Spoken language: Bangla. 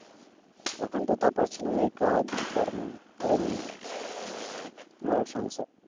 এখন তো তা পারছিনা এই কাজ কর্ম এই নিয়ে, ঘর সংসার